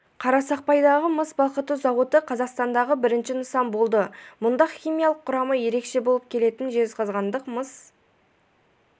қарсақпайдағы мыс балқыту зауыты қазақстандағы бірінші нысан болды мұнда химиялық құрамы ерекше болып келетін жезқазғандық мыс